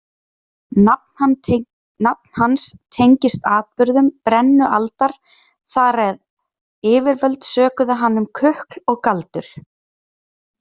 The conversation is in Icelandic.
Nafn hans tengist atburðum brennualdar þar eð yfirvöld sökuðu hann um kukl og galdur.